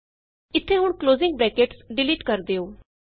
ਇਥੇ ਹੁਣ closing brackets delete ਕਰ ਦਿਉ